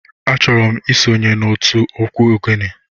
Achoro m isonye n'otu egwu ogene.